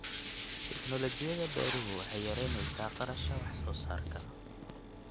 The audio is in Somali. Tignoolajiyada beeruhu waxay yaraynaysaa kharashka wax soo saarka.